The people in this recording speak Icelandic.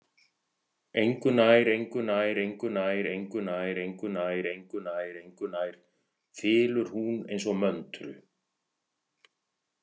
Engunærengunærengunærengunærengunærengunær, þylur hún eins og möntru.